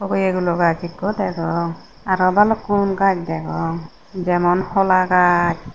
hogeye gulo gach ekko degong aro balukkun gaj degong jemon hola gach.